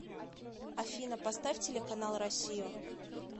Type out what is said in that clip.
афина поставь телеканал россию